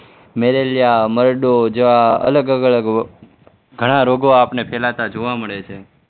Malaria મરડો જ્યાં અલગ-અલગ ઘણા રોગો આપણને ફેલાતા જોવા મળે છે.